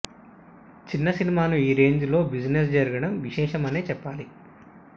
చిన్న సినిమాను ఈ రేంజ్ లో బిజినెస్ జరగడం విశేషమనే చెప్పాలి